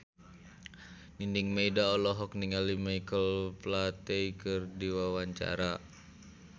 Nining Meida olohok ningali Michael Flatley keur diwawancara